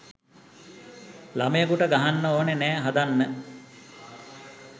ලමයකුට ගහන්න ඕන නෑ හදන්න.